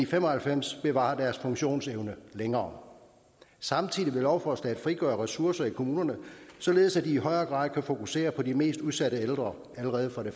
fem og halvfems bevarer deres funktionsevne længere samtidig vil lovforslaget frigøre ressourcer i kommunerne således at de i højere grad kan fokusere på de mest udsatte ældre allerede fra de